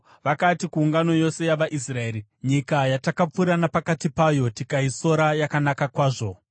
Vakati kuungano yose yavaIsraeri, “Nyika yatakapfuura napakati payo tikaisora yakanaka kwazvo.